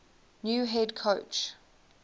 new head coach